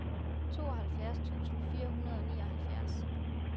tooghalvfjerds tusind fire hundrede og nioghalvfjerds